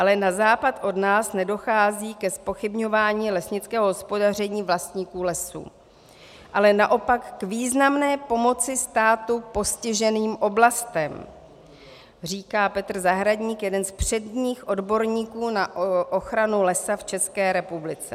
Ale na západ od nás nedochází ke zpochybňování lesnického hospodaření vlastníků lesů, ale naopak k významné pomoci státu postiženým oblastem, říká Petr Zahradník, jeden z předních odborníků na ochranu lesa v České republice.